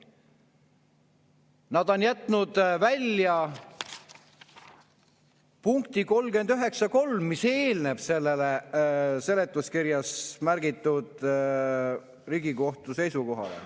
Nad on jätnud välja punkti 39.3, mis eelneb sellele seletuskirjas märgitud Riigikohtu seisukohale.